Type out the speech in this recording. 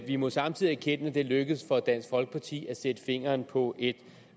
vi må samtidig erkende at det er lykkedes for dansk folkeparti at sætte fingeren på